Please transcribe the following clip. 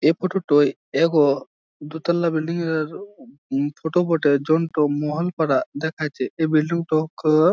এ photo টই এগো দোতলা বিল্ডিং এর উ ফটো বটে। যনটো মোহানপাড়া দেখাচ্ছে এই বিল্ডিং ট ক--